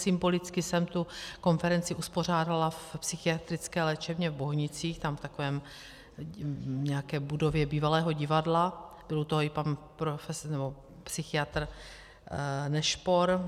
Symbolicky jsem tu konferenci uspořádala v psychiatrické léčebně v Bohnicích, tam v takové nějaké budově bývalého divadla, byl u toho i pan psychiatr Nešpor.